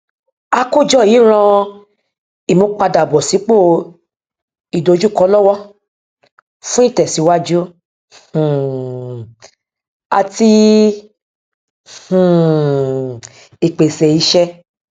àkójọ yìí ràn ìmúpadàbọsípò ìdojúkọ lọwọ fún ìtẹsíwájú um àti um ìpèsè iṣẹ